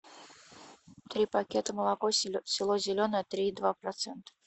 три пакета молоко село зеленое три и два процента